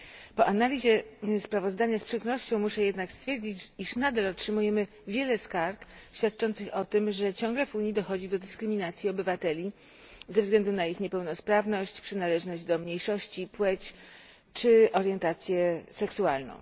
Po analizie sprawozdania z przykrością muszę jednak stwierdzić, iż nadal otrzymujemy wiele skarg świadczących o tym, że ciągle w Unii dochodzi do dyskryminacji obywateli ze względu na ich niepełnosprawność, przynależność do mniejszości, płeć czy orientację seksualną.